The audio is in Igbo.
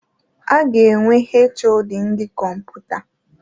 A ga-enwe HoD ndị Kọmputa.